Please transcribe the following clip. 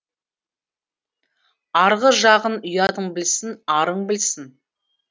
арғы жағын ұятың білсін арың білсін